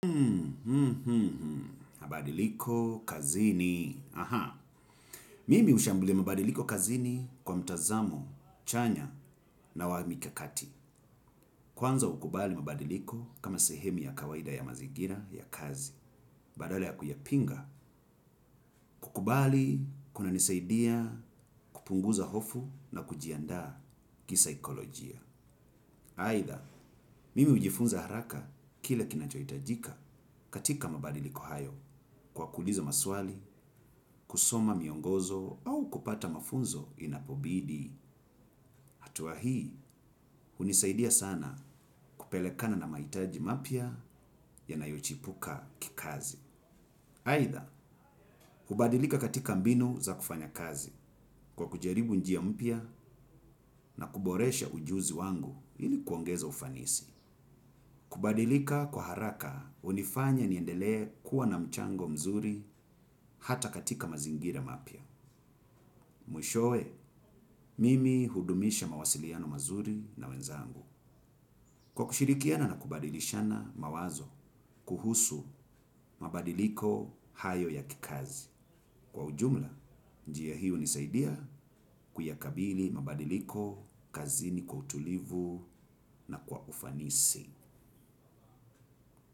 Hmm, hmm, hmm, mabadiliko kazini. Aha, mimi ushambulia mabadiliko kazini kwa mtazamo, chanya na wa mikakati. Kwanza ukubali mabadiliko kama sehemu ya kawaida ya mazigira ya kazi. Badala ya kuyapinga, kukubali, kunanisaidia, kupunguza hofu na kujianda kisaikolojia. Haitha, mimi ujifunza haraka kile kinachoitajika katika mabadiliko hayo kwa kuliza maswali, kusoma miongozo au kupata mafunzo inapobidi. Hatua hii, unisaidia sana kupelekana na maitaji mapya yanayochipuka kikazi. Haitha, kubadilika katika mbinu za kufanya kazi kwa kujaribu njia mpya na kuboresha ujuzi wangu ili kuongeza ufanisi. Kubadilika kwa haraka unifanya niendelee kuwa na mchango mzuri hata katika mazingira mapya. Mwishowe, mimi hudumisha mawasiliano mazuri na wenzangu. Kwa kushirikiana na kubadilishana mawazo, kuhusu mabadiliko hayo ya kikazi. Kwa ujumla, njiya hii unisaidia kuyakabili mabadiliko, kazini kwa utulivu na kwa ufanisi.